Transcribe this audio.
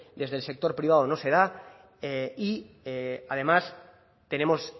desde el sector privado no se da y además tenemos